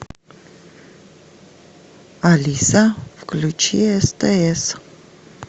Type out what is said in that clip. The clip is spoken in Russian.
алиса включи стс